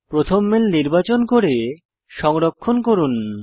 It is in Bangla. প্রথম মেইল নির্বাচন করে সংরক্ষণ করুন